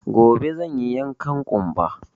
Gobe zan yi yankan ƙumba